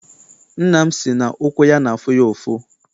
Nna m si na ụkwụ ya n'afụ ya ụfụ.